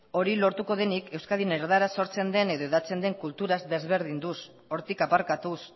hori lortuko denik euskadin erdaraz sortzen den edo hedatzen den kulturaz desberdinduz hortik aparkatuz